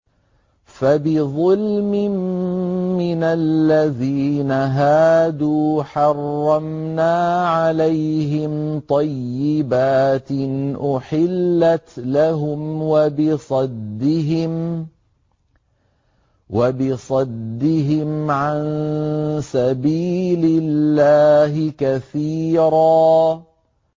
فَبِظُلْمٍ مِّنَ الَّذِينَ هَادُوا حَرَّمْنَا عَلَيْهِمْ طَيِّبَاتٍ أُحِلَّتْ لَهُمْ وَبِصَدِّهِمْ عَن سَبِيلِ اللَّهِ كَثِيرًا